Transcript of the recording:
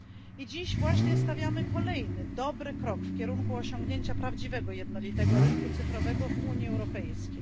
I dziś właśnie stawiamy kolejny dobry krok w kierunku osiągnięcia prawdziwego jednolitego rynku cyfrowego w Unii Europejskiej.